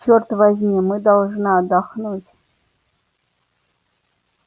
черт возьми мы должны отдохнуть